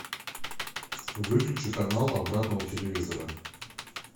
выключи канал обратно у телевизора